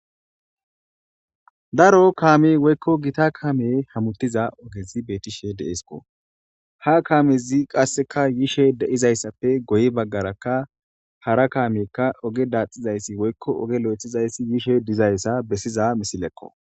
daro kaami woykko gita kaame hamuttiza ogezi beetishe deesko ha kaamezi qasseka yishe deizayssappe goyi baggarakka hara kaamiyekka oge daaxizayssi woykko oge lo7ethizayssi yishe dizayssa bessiza misilekko